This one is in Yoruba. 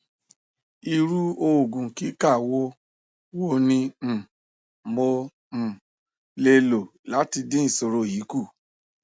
iru ogun kika wo wo ni um mo um le lo lati din isoro yi ku